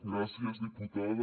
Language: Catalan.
gràcies diputada